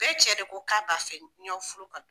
Bɛɛ cɛ de ko k'a b'a fɛ n y'aw furu ka na.